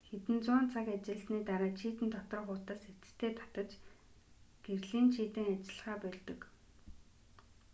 хэдэн зуун цаг ажилласаны дараа чийдэн доторх утас эцэстээ шатаж гэрлийн чийдэн ажиллахаа больдог